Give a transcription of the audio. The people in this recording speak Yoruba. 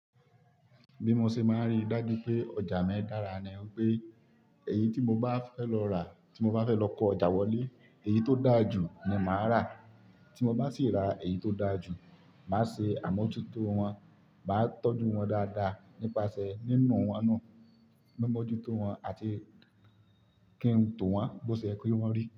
Bí mo ṣe máa ríi dájú pé ọjà mi dára ni wi pé èyí tí mo bá fẹ́ lọ rà, tí mo bá fẹ́ lọ kọ ọjà wọlé, èyí tó dáa jù ni màá rà. Tí mo bá sì ra èyí tó dáa jù, màá ṣe àmójútó wọn, màá tọ́jú wọn dáadáa nípasẹ̀ nínú wọn nu, mimójútó wọn àti kí n tó wọn bó ṣe ye kí wọ́n rí.